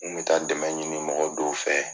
U kun bɛ taara dɛmɛ ɲini mɔgɔ denw fɛ